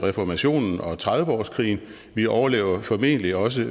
reformationen og trediveårskrigen vi overlever formentlig også